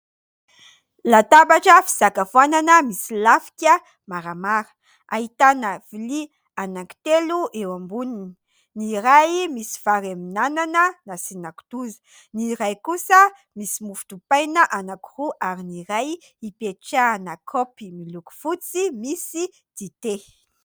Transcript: Latabatra fisakafoanana misy lafika maramara, ahitana lovia anankitelo eo amboniny : ny iray misy vary amin'ny anana nasiana kitoza, ny iray kosa misy mofo dipaina anankiroa ary ny iray ipetrahana kaopy miloko fotsy misy dite.